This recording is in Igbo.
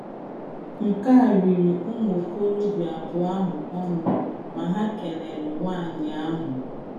Nke a riri ụmụ okorobịa abụọ ahụ ọnụ ma ha kelere nwanyị ahụ..